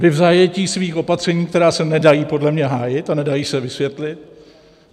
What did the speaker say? Vy v zajetí svých opatření, která se nedají podle mě hájit a nedají se vysvětlit.